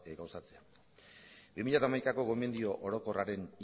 gauzatzea bi mila hamaikako gomendio orokorraren